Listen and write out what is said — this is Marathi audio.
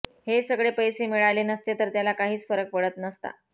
हे सगळे पैसे मिळाले नसते तरी त्याला काहीच फरक पडत नसता